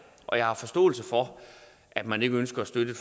og jeg har forståelse for at man ikke ønsker at støtte